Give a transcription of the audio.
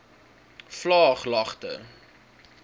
vlaaglagte